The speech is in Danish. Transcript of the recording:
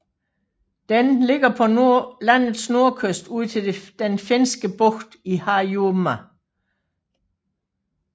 Den ligger på landets nordkyst ud til Den Finske Bugt i Harjumaa